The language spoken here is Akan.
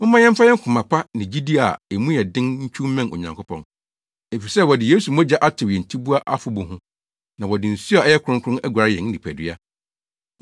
Momma yɛmfa koma pa ne gyidi a mu yɛ den ntwiw mmɛn Onyankopɔn. Efisɛ wɔde Yesu mogya atew yɛn tiboa afɔbu ho, na wɔde nsu a ɛyɛ kronkron aguare yɛn nipadua.